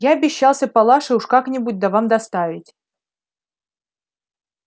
я обещался палаше уж как-нибудь да вам доставить